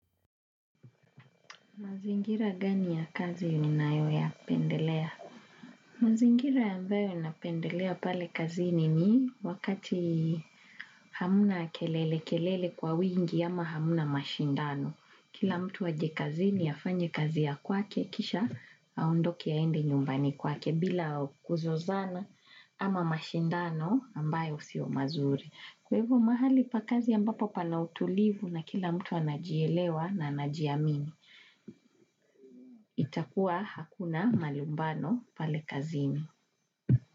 Mazingira gani ya kazi unanayoya pendelea? Mazingira ambayo ninapendelea pale kazini ni wakati hamna kelele kelele kwa wingi ama hamna mashindano. Kila mtu aje kazini afanye kazi ya kwake kisha aondoke aende nyumbani kwake bila kuzozana ama mashindano ambayo sio mazuri. Kwa hivyo mahali pa kazi ambapo pana utulivu na kila mtu anajielewa na anajiamini. Itakuwa hakuna malumbano pale kazini.